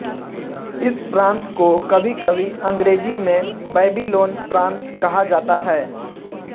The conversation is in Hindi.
इस प्रान्त को कभीकभी अंग्रेज़ी में बैबिलोन प्रान्त कहा जाता है